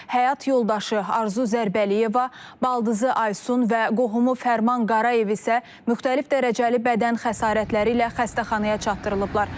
Həyat yoldaşı Arzu Zərbəliyeva, baldızı Aysun və qohumu Fərman Qarayev isə müxtəlif dərəcəli bədən xəsarətləri ilə xəstəxanaya çatdırılıblar.